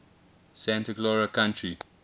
santa clara county